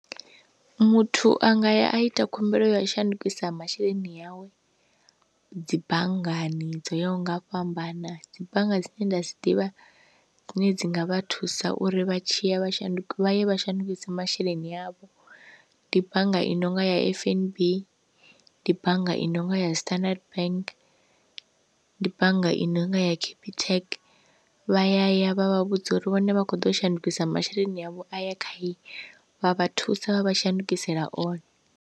Muthu anga ya a ita khumbelo ya u shandukisa masheleni awe dzi banngani dzo yaho nga u fhambana, dzi bannga dzine nda dzi ḓivha dzine dzi nga vha thusa uri vha tshi ya vha shanduka yo shandukisa masheleni avho ndi bannga i nonga ya F_N_B ndi bannga i nonga ya standard bank ndi bannga i nonga ya capitec, vha ya ya vha vha vhudza uri vhone vha kho ḓo u shandukisa masheleni avho a ya vha thusa vha vha shandukisela one.